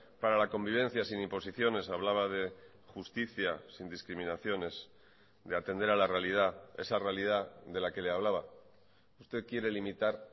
para la convivencia sin imposiciones hablaba de justicia sin discriminaciones de atender a la realidad esa realidad de la que le hablaba usted quiere limitar